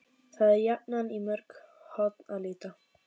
Það er jafnan í mörg horn að líta.